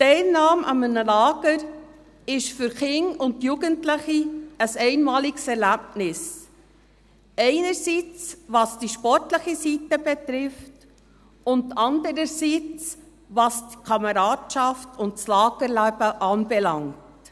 Die Teilnahme an einem Lager ist für Kinder und Jugendliche ein einmaliges Erlebnis, einerseits was die sportliche Seite betrifft, und andererseits was die Kameradschaft und das Lagerleben anbelangt.